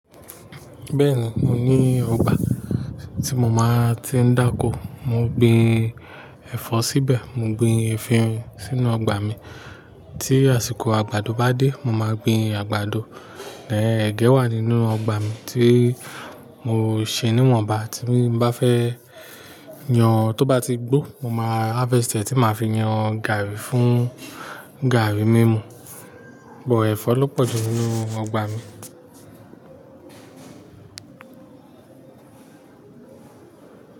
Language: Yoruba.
Bẹ́ẹ̀ni, mo ní ọgbà tí mo máa ti ń dáko, mo gbin ẹ̀fọ́ síbẹ̀, mo gbin efirin sínú ọgbà mi. Tí àsìkò àgbàdo bá dé, mo màá gbin àgbàdo. Ẹn ẹgẹ́ wà nínú ọgbà mi tí mo ṣe níwọ̀nba tí n bá fẹ́ yán, tó bá ti gbó, mo máa harvestẹ̀ tí màá fi yán gààrí fún gààrí mímu. But ẹ̀fọ́ ló pọ̀jù nínú ọgbà mi.